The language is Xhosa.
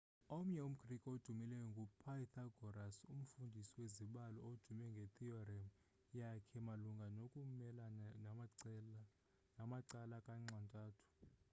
omnye umgrike odumileyo ngu-pythagoras umfundisi wezibalo odume ngethiyorem yakhe malunga nokumelana namacala kanxa-ntathu